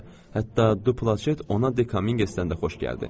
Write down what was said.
Hətta Duplaşet ona Dekamingesdən də xoş gəldi.